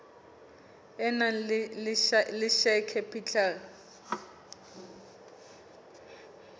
e nang le share capital